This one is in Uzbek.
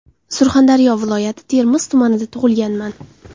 Surxondaryo viloyati Termiz tumanida tug‘ilganman.